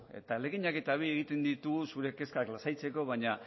eta ahaleginak eta bi egiten ditugu zure kezkak lasaitzeko baina